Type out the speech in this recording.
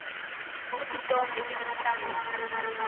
kutsi tonkhe letinhlangotsi